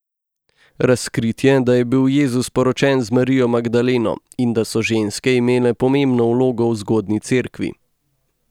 Razkritje, da je bil Jezus poročen z Marijo Magdaleno in da so ženske imele pomembno vlogo v zgodnji cerkvi.